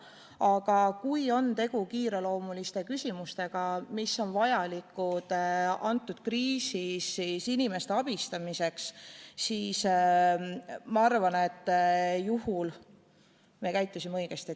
Aga kui on tegu kiireloomuliste küsimustega, mille lahendamine on vajalik kriisis inimeste abistamiseks, siis ma arvan, et me käitusime õigesti.